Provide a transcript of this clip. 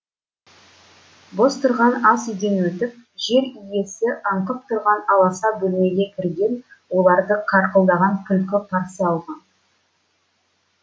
бос тұрған ас үйден өтіп жер иісі аңқып тұрған аласа бөлмеге кірген оларды қарқылдаған күлкі қарсы алған